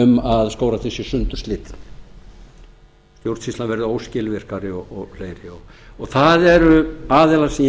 um að skógræktin sé sundurslitin stjórnsýslan verði óskilvirkari og fleira það eru aðilar sem ég